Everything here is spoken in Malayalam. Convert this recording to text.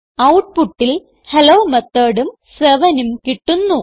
ഔട്ട്പുട്ടിൽ ഹെല്ലോ Methodഉം 7ഉം കിട്ടുന്നു